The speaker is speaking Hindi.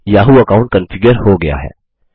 याहू अकाउंट कन्फिगर हो गया है